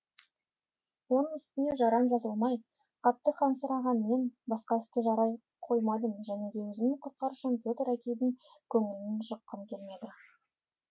оның үстіне жарам жазылмай қатты қансыраған мен басқа іске жарай қоймадым және де өзімнің құтқарушым петр әкейдің көңілін жыққым келмеді